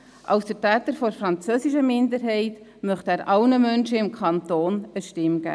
Als Vertreter der französischsprachigen Minderheit möchte er allen Menschen im Kanton eine Stimme geben.